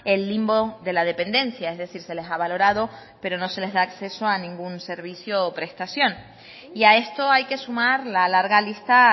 el limbo de la dependencia es decir se les ha valorado pero no se les da acceso a ningún servicio o prestación y a esto hay que sumar la larga lista